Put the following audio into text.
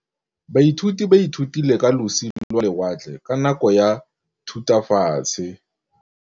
Baithuti ba ithutile ka losi lwa lewatle ka nako ya Thutafatshe.